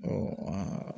Ɔ aa